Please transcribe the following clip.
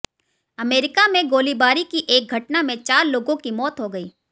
America में गोलीबारी की एक घटना में चार लोगों की मौत हो गई